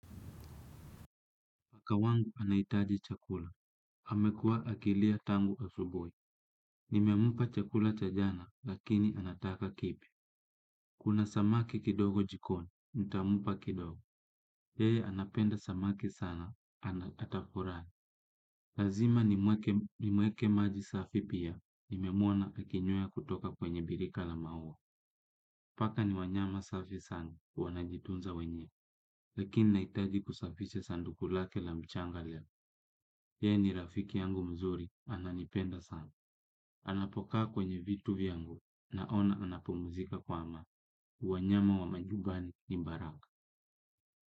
Paka wangu anaitaji chakula. Amekua akilia tangu asubui. Nimempa chakula cha jana, lakini anataka kipya. Kuna samaki kidogo jikoni, nitampa kidogo. Yeye anapenda samaki sana, atafurai. Lazima nimweke maji safi pia. Nimemuona akinywea kutoka kwenye birika la maua. Paka ni wanyama safi sana, wa na jitunza wenyewe. Lakini naitaji kusafisha sanduku lake la mchanga leo. Yeye ni rafiki yangu mzuri. Ananipenda sana. Anapokaa kwenye vitu vyangu. Naona anapumzika kwa aman. Wanyama wa majubani ni mbaraka.